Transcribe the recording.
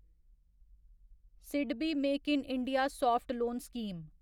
SIDBI make in India soft loan scheme